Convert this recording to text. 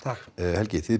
helgi þið